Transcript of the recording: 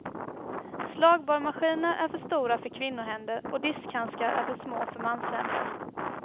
Slagborrmaskiner är för stora för kvinnohänder och diskhandskar är för små för manshänder.